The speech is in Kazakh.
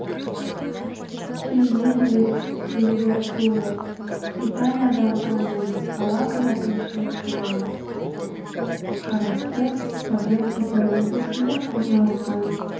фильйне вельятуро италиядағы коммуна калабрия әкімшілік аймағына қарасты козенца провинциясында орналасқан